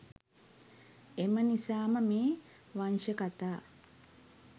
එම නිසා ම මේ වංශකතා